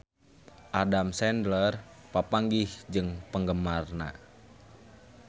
Adam Sandler papanggih jeung penggemarna